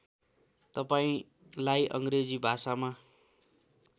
तपाईँलाई अङ्ग्रेजी भाषामा